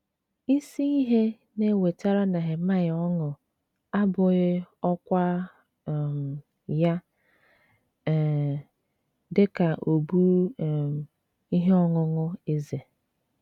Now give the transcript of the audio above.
Isi ihe na - ewetara Nehemaịa ọṅụ abụghị ọkwá um ya um dị ka obu um ihe ọṅụṅụ eze.